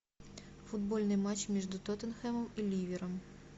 футбольный матч между тоттенхэмом и ливером